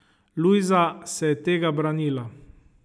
Lujza se je tega branila.